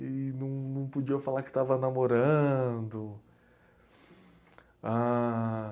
E não não podia falar que estava namorando. Ah...